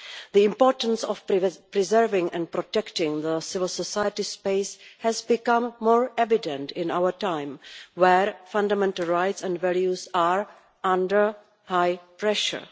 The importance of preserving and protecting the civil society space has become more evident in our time, where fundamental rights and values are under high pressure.